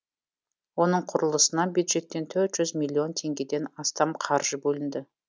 оның құрылысына бюджеттен төрт жүз миллион теңгеден астам қаржы бөлінді